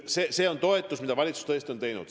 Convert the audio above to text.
See on toetus, mille valitsus tõesti on eraldanud.